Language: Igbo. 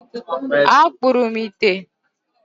Akpụrụ m ite.